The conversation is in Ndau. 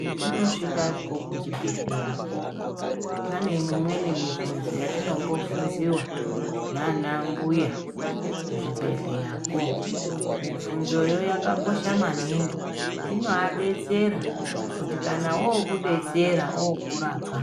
Patinosvikako kuchibhedhlera ko, pane mimweni mibvunzo yatinombobvunziwa, naana mbuya ku zvibhedhleya ko. Mibvunzoyo yakakosha maningi. Inoadetsera kuti kana wookudetsera ookukurapa